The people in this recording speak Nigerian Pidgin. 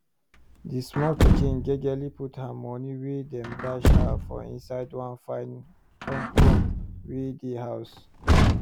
d small pikin jejely put her moni wey dem dash her for inside one fine koomkoom wey dey house